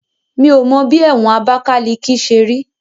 Mi ò mọ bí ẹ̀wọ̀n Abakaliki ṣe rí